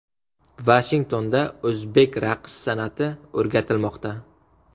Vashingtonda o‘zbek raqs san’ati o‘rgatilmoqda.